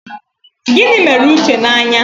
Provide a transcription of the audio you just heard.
Gịnị mere Uche n'anya?